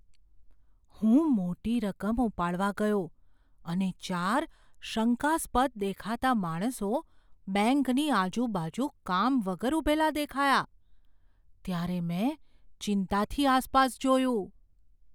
હું મોટી રકમ ઉપાડવા ગયો અને ચાર શંકાસ્પદ દેખાતા માણસો બેંકની આજુબાજુ કામ વગર ઊભેલા દેખાયા, ત્યારે મેં ચિંતાથી આસપાસ જોયું.